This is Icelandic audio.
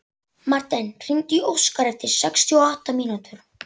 Marten, hringdu í Óskar eftir sextíu og átta mínútur.